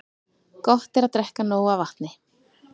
Gott er að drekka nóg af vatni.